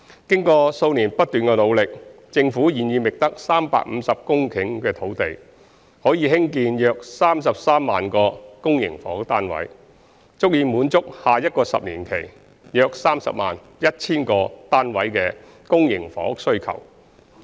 經過數年不斷的努力，政府現已覓得350公頃土地，可興建約33萬個公營房屋單位，足以滿足下一個十年期約 301,000 個單位的公營房屋需求。